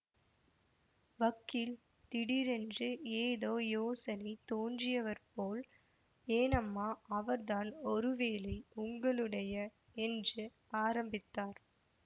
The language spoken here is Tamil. வக்கீல் திடீரென்று ஏதோ யோசனை தோன்றியவர் போல் ஏனம்மா அவர்தான் ஒரு வேளை உங்களுடைய என்று ஆரம்பித்தார்